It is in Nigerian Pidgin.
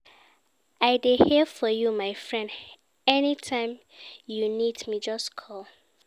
I dey here for you my friend, anytime you need me, just call.